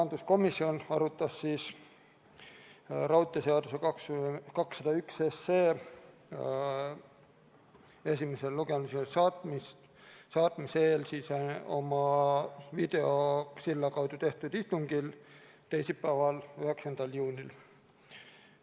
Majanduskomisjon arutas raudteeseaduse eelnõu 201 esimesele lugemisele saatmise eel oma videosilla kaudu tehtud istungil teisipäeval, 9. juunil.